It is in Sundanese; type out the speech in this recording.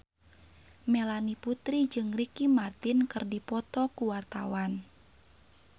Melanie Putri jeung Ricky Martin keur dipoto ku wartawan